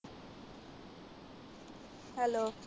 Hello